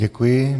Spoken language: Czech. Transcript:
Děkuji.